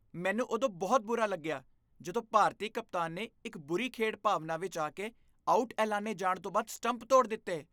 ਮੈਨੂੰ ਉਦੋਂ ਬਹੁਤ ਬੁਰਾ ਲੱਗਿਆ ਜਦੋਂ ਭਾਰਤੀ ਕਪਤਾਨ ਨੇ ਇੱਕ ਬੁਰੀ ਖੇਡ ਭਾਵਨਾ ਵਿੱਚ ਆ ਕੇ ਆਊਟ ਐਲਾਨੇ ਜਾਣ ਤੋਂ ਬਾਅਦ ਸਟੰਪ ਤੋਡ਼ ਦਿੱਤੇ।